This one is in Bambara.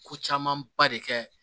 Ko camanba de kɛ